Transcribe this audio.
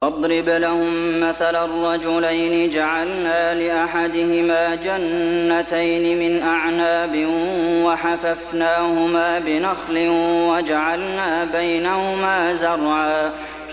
۞ وَاضْرِبْ لَهُم مَّثَلًا رَّجُلَيْنِ جَعَلْنَا لِأَحَدِهِمَا جَنَّتَيْنِ مِنْ أَعْنَابٍ وَحَفَفْنَاهُمَا بِنَخْلٍ وَجَعَلْنَا بَيْنَهُمَا زَرْعًا